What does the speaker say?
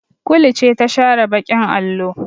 Kulu ce ta share baƙin allo.